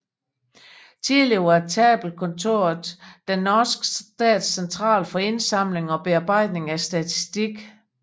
Tidligere var Tabellkontoret den norske stats central for indsamling og bearbejdning af statistik